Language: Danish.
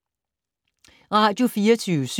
Radio24syv